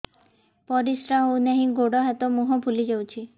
ପରିସ୍ରା ହଉ ନାହିଁ ଗୋଡ଼ ହାତ ମୁହଁ ଫୁଲି ଯାଉଛି